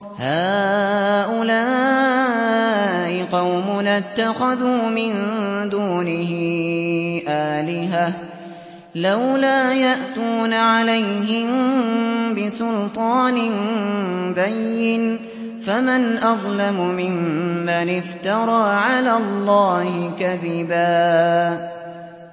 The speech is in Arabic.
هَٰؤُلَاءِ قَوْمُنَا اتَّخَذُوا مِن دُونِهِ آلِهَةً ۖ لَّوْلَا يَأْتُونَ عَلَيْهِم بِسُلْطَانٍ بَيِّنٍ ۖ فَمَنْ أَظْلَمُ مِمَّنِ افْتَرَىٰ عَلَى اللَّهِ كَذِبًا